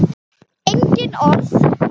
Engin orð.